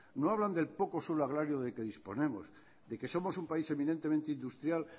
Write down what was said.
no hablan del poco suelo agrario del que disponemos de que somos un país evidentemente industrial